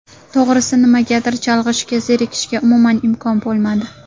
To‘g‘risi nimagadir chalg‘ishga, zerikishga umuman imkon bo‘lmadi.